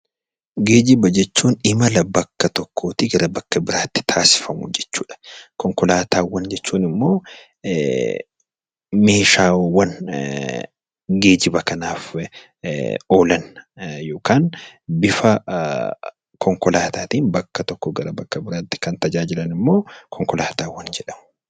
Geejjiba jechuun imala bakka tokkoo gara bakka biraatti taasifamu jechuudha. Konkolaataa jechuun immoo meeshaawwan geejjiba kanaaf oolan yookaan bifa konkolaataatiin bakka tokkoo gara biraatti kan tajaajilanidha.